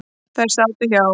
Þær sátu hjá.